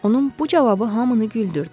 Onun bu cavabı hamını güldürdü.